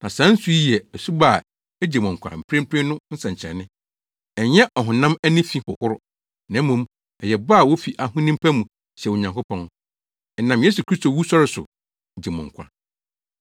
na saa nsu yi yɛ asubɔ a egye mo nkwa mprempren no nsɛnkyerɛnne; ɛnyɛ ɔhonam ani fi hohoro, na mmom, ɛyɛ bɔ a wofi ahonim pa mu hyɛ Onyankopɔn. Ɛnam Yesu Kristo wusɔre so gye mo nkwa.